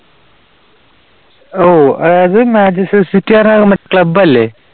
ഓ അതായത് Manchester City club അല്ലേ?